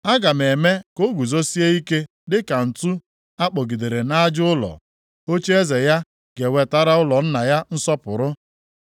Aga m eme ka o guzosie ike dịka ǹtu a kpọgidere nʼaja ụlọ. Ocheeze ya ga-ewetara ụlọ nna ya nsọpụrụ.